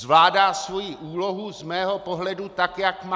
Zvládá svoji úlohu z mého pohledu tak, jak má.